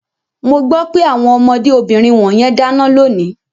Mo gbọ́ pé àwọn ọmọdé obìnrin wọ̀nyẹn dáná lónìí.